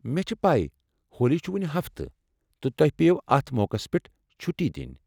مےٚ چھےٚ پَے ہولی چھ وُنہِ ہفتہٕ، تہٕ تۄہہ پییو اتھ موقعس پٮ۪ٹھ چھُٹی دِنۍ۔